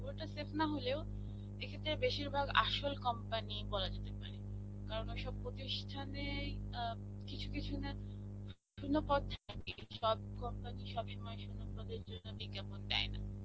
পুরোটা safe নাহলেও এক্ষেত্রে বেশিরভাগ আসল company বলা যেতে পারে. কারণ ঐসব প্রতিষ্ঠানে আ কিছু কিছু শুন্য পদ সব company সবসময় শুন্য পদের জন্য বিজ্ঞাপন দেয় না.